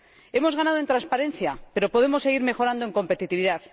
Hemos ganado en transparencia, pero podemos seguir mejorando en competitividad.